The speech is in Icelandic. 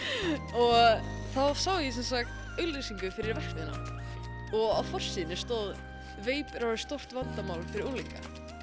og þar sá ég auglýsingu fyrir verksmiðjuna og á forsíðunni stóð veip er orðið stórt vandamál fyrir unglinga